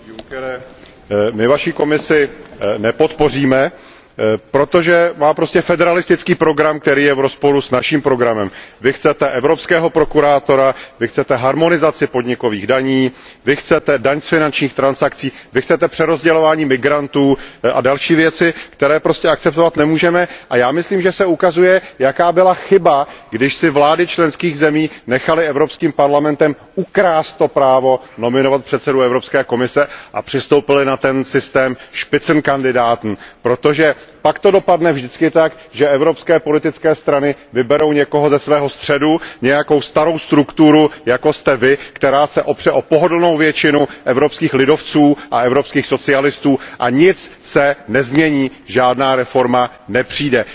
Pane předsedo Junckere, my vaši Komisi nepodpoříme, protože má prostě federalistický program, který je v rozporu s naším programem. Vy chcete evropského prokurátora, vy chcete harmonizaci podnikových daní, vy chcete daň z finančních transakcí, vy chcete přerozdělování migrantů a další věci, které prostě akceptovat nemůžeme a já myslím, že se ukazuje, jaká byla chyba, když si vlády členských zemí nechaly Evropským parlamentem ukrást právo nominovat předsedu Evropské komise a přistoupily na systém Spitzenkandidaten protože pak to dopadne vždycky tak, že evropské politické strany vyberou někoho ze svého středu, nějakou starou strukturu, jako jste Vy, která se opře o pohodlnou většinu evropských lidovců a evropských socialistů, a nic se nezmění, žádná reforma nepřijde.